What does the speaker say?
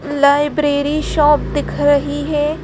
Library shop दिख रही है ।